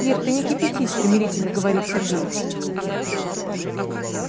ир ты не кипятись примирительно говорит сергей